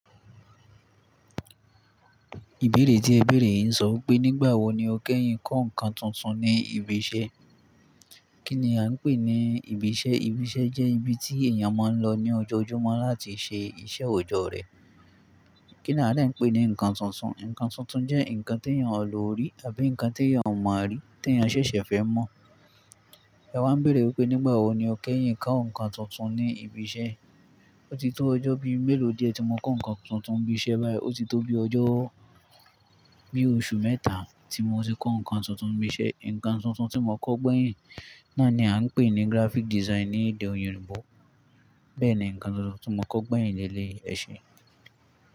Ìbéèrè tí ẹ bèèrè ń sọ pé nígbà wo ni o kẹ́yìn kọ́ nǹkan tuntun ní ibi iṣẹ́? Kí ni a ń pè ní ibi iṣẹ́? Ibi iṣẹ́ jẹ́ ibi tí èèyàn máa ń lọ ní ọjọ́ ojúmọ́ láti ṣe iṣẹ́ òjọ́ rẹ̀. Kí ni a dá ń pè ní nǹkan tuntun? Nǹkan tuntun jẹ́ nǹkan tí èèyàn ò lò rí àbí nǹkan tí èèyàn ò mọ̀ rí tí èèyàn ṣẹ̀ṣẹ̀ fẹ́ mọ̀. Ẹ wa n bèèrè wípé nígbà wo ni o kẹ́yìn kọ́ nǹkan tuntun ní ibi iṣẹ́. Ó ti tó ọjọ́ bí i mélòó díẹ̀ tí mo kọ́ nǹkan tuntun bí i iṣẹ́ báyìí, ó ti tó bí ọjọ́ bí i oṣù mẹ́ta tí mo ti kọ́ nǹkan tuntun bí i iṣẹ́. Nǹkan tuntun tí mo kọ́ gbẹ̀yìn náà ni a ń pè ní graphic design ní èdè Oyinbo. Bẹ́ẹ̀ ni nǹkan tuntun tí mo kọ́ gbẹ̀yìn ní eléyìí ẹ ṣe.